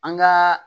An gaa